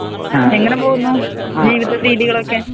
എങ്ങനെ പോകുന്നു ജീവിതരീതികളൊക്കെ